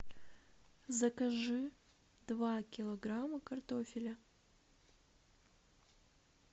закажи два килограмма картофеля